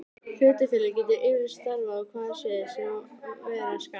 Hlutafélag getur yfirleitt starfað á hvaða sviði sem vera skal.